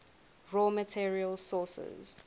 raw materials sources